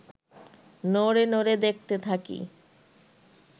নড়ে নড়ে দেখতে থাকি